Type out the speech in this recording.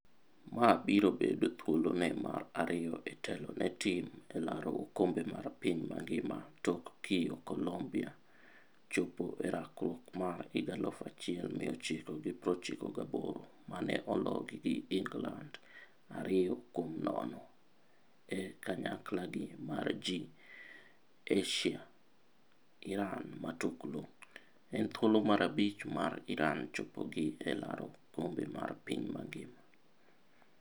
Ma biro bedo thuolo ne mar ariyo e telo ne tim e laro okombe mar piny mangima tok kiyo Colombia chopo e rakruok mar 1998 mane ologi gi Ingland 2-0 e kanyaklagi mar G. ASIA Iran Matuklu: En thuolo mar abich mar Iran chopogi e laro okombe mar piny ngima.